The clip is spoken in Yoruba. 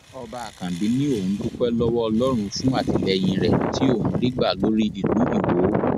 ọba àkànbí ni òun dúpẹ lọwọ ọlọrun fún àtìlẹyìn rẹ tí òun rí gbà lórí ìlú iwọ